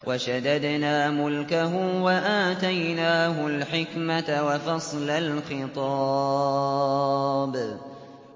وَشَدَدْنَا مُلْكَهُ وَآتَيْنَاهُ الْحِكْمَةَ وَفَصْلَ الْخِطَابِ